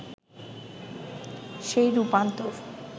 সেই রূপান্তর